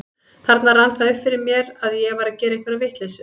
Þarna rann það upp fyrir mér að ég væri að gera einhverja vitleysu.